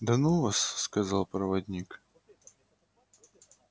да ну вас сказал проводник